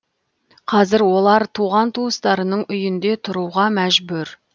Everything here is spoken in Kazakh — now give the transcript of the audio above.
қазір олар туған туыстарының үйінде тұруға мәжүр